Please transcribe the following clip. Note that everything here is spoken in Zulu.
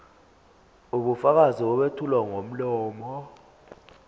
ubufakazi obethulwa ngomlomo